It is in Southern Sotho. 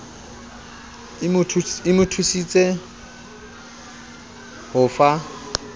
e mo thusitse ho fa